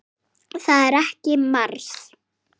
Það er ekki mars.